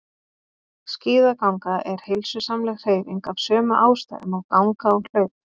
Skíðaganga er heilsusamleg hreyfing af sömu ástæðum og ganga og hlaup.